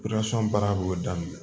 baara b'o daminɛ